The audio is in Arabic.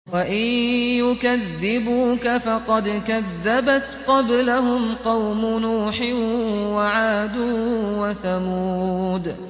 وَإِن يُكَذِّبُوكَ فَقَدْ كَذَّبَتْ قَبْلَهُمْ قَوْمُ نُوحٍ وَعَادٌ وَثَمُودُ